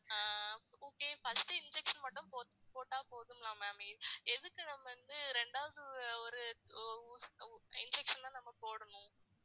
ஆஹ் okay first injection மட்டும் போட்டா போதுமா ma'am எதுக்கு நம்ம வந்து ரெண்டாவது ஒரு ஊ~ injection லாம் நம்ம போடணும்